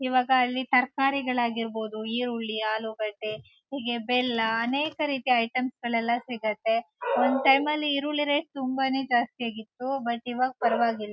ಇವಾಗ ಅಲ್ಲಿ ತರ್ಕಾರಿಗಳಾಗಿರ್ಬೋದು ಈರುಳ್ಳಿ ಆಲೂಗಡ್ಡೆ ಹೀಗೆ ಬೆಲ್ಲ ಅನೇಕ ರೀತಿಯ ಐಟಮ್ಸ್ ಗಳೆಲ್ಲ ಸಿಗುತ್ತೆ. ಒನ್ ಟೈಮಲ್ಲಿ ಈರುಳ್ಳಿ ರೇಟ್ ತುಂಬಾನೇ ಜಾಸ್ತಿ ಆಗಿತ್ತು ಬಟ್ ಇವಾಗ ಪರ್ವಾಗಿಲ್--